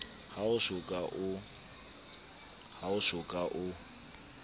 ha o so ka o